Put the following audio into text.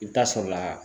I bɛ taa sɔrɔla